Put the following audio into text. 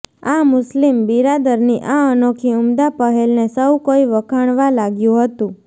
આ મુસ્લિમ બિરાદરની આ અનોખી ઉમદા પહેલને સૌ કોઈ વખાણવા લાગ્યું હતું